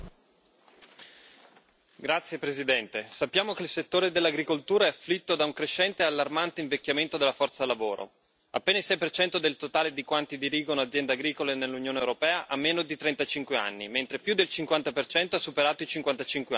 Signor Presidente, onorevoli colleghi, sappiamo che il settore dell'agricoltura è afflitto da un crescente e allarmante invecchiamento della forza lavoro appena il 6 del totale di quanti dirigono aziende agricole nell'Unione europea ha meno di 35 anni, mentre più del 50 ha superato i 55 anni.